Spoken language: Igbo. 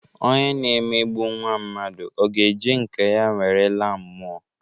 Onye na-emegbu nwa mmadu ọ ga-eji nke ya were laa mmụọ?